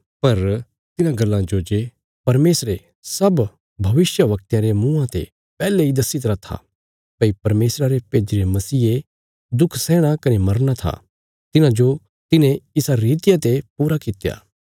पर तिन्हां गल्लां जो जे परमेशरे सब भविष्यवक्तयां रे मुँआं ते पैहले इ दस्सी तरा था भई परमेशरा रे भेज्जीरे मसीहे दुख सैहणा कने मरना था तिन्हांजो तिन्हें इसा रितिया ते पूरा कित्या